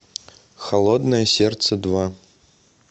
холодное сердце два